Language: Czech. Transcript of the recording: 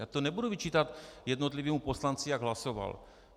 Já to nebudu vyčítat jednotlivému poslanci, jak hlasoval.